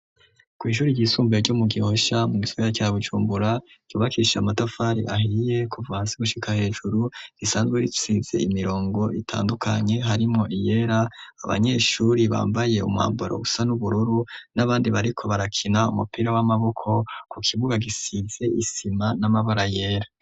Kw'ishure ry'isumbuye ryo mu gihosha mu gisagara ca bujumbura, cubakishije amatafari ahiye kuva hasi gushika hejuru, risanzwe risize imirongo itandukanye harimwo iyera abanyeshure bambaye umwambaro usa n'ubururu n'abandi bariko barakina umupira w'amaboko, ku kibuga gisize isima n'amabara yera.